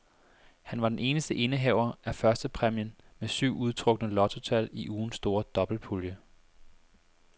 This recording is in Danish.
Han var den eneste indehaver af førstepræmien med syv udtrukne lottotal i ugens store dobbeltpulje.